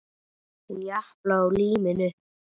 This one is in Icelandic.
Hún japlaði á líminu.